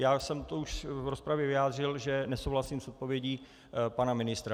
Já jsem to už v rozpravě vyjádřil, že nesouhlasím s odpovědí pana ministra.